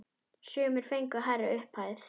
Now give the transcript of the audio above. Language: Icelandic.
Sumir fengu hærri upphæð.